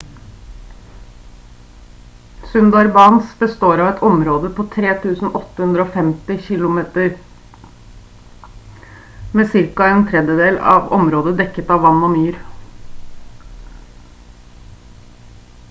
sundarbans består av et område på 3 850 km² med ca. en tredjedel av området dekket av vann og myr